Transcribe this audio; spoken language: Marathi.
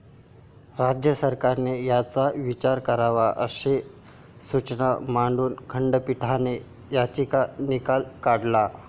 राज्य सरकारने याचा विचार करावा', अशा सूचना मांडून खंडपीठाने याचिका निकाली काढली.